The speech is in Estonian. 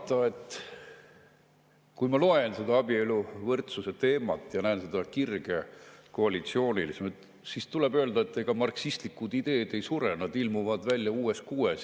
Mis siin salata, kui ma loen seda abieluvõrdsuse teemat ja näen seda kirge koalitsioonis, siis tuleb öelda, et ega marksistlikud ideed ei sure, nad ilmuvad välja uues kuues …